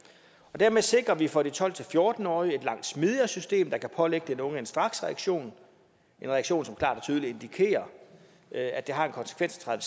dermed sikrer vi for de tolv til fjorten årige et langt smidigere system der kan pålægge den unge en straksreaktion en reaktion som klart og tydeligt indikerer at det har en konsekvens at